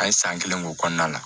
An ye san kelen k'o kɔnɔna la